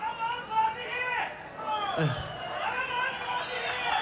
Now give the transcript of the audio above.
Kahramanmaraş, Kahramanmaraş!